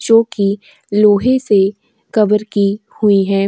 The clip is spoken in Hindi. जोकि लोहे से कवर की हुई हैं।